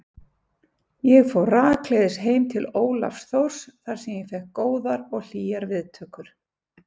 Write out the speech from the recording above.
Ég fór rakleiðis heim til Ólafs Thors þar sem ég fékk góðar og hlýjar viðtökur.